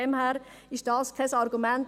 Daher ist dies kein Argument.